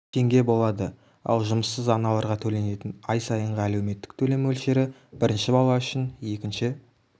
теңге болады ал жұмыссыз аналарға төленетін ай сайынғы әлеуметтік төлем мөлшері бірінші бала үшін екінші